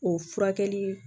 O furakɛli